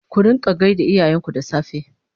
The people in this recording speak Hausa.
ku rinƙa gaida iyayen ku da safe!